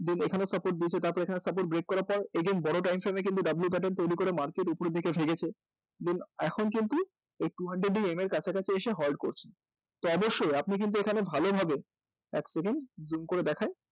এখানে support দিয়েছে তারপর এখানে support break করার পর বড় timeframe এ কিন্তু w pattern তৈরি করার পর market উপরের দিকে গেছে তো এখন কিন্তু two hundred এর কাছাকাছি এসে halt করছে তো অবশ্যই আপনি কিন্তু এখানে ভালোভাবে এক second zoom করে দেখাই